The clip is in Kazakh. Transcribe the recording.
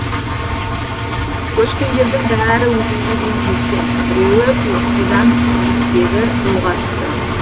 көшкіндердің бәрі өзенге дейін жеткен біреуі тұйықсудан биіктегі жолға түсті